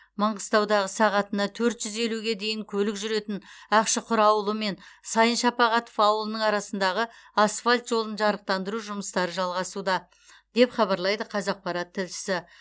маңғыстаудағы сағатына төрт жүз елуге дейін көлік жүретін ақшұқыр ауылы мен сайын шапағатов ауылының арасындағы асфальт жолын жарықтандыру жұмыстары жалғасуда деп хабарлайды қазақпарат тілшісі